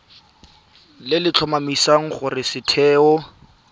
le le tlhomamisang gore setheo